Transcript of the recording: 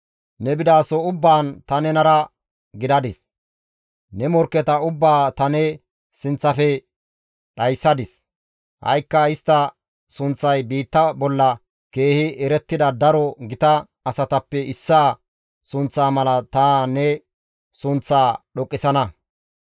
Ne bidaso ubbaan ta nenara gidadis; ne morkketa ubbaa ta ne sinththafe dhayssadis; ha7ikka istta sunththay biitta bolla keehi erettida daro gita asatappe issaa sunththa mala ta ne sunththaa dhoqqisana.